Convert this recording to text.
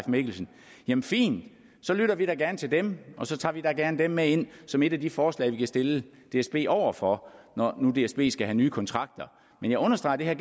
mikkelsen jamen fint så lytter vi da gerne til dem og så tager vi da gerne dem med ind som et af de forslag som vi kan stille dsb over for når nu dsb skal have nye kontrakter men jeg understreger at det her